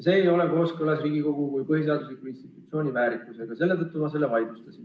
See ei ole kooskõlas Riigikogu kui põhiseadusliku institutsiooni väärikusega ja selle tõttu ma selle vaidlustasin.